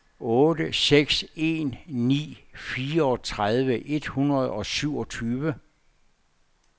otte seks en ni fireogtredive et hundrede og syvogtyve